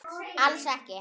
Alls ekki.